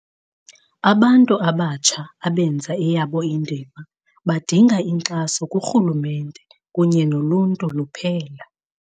Abantu abatsha abenza eyabo indima, badinga inkxaso kurhulumente kunye noluntu luphela.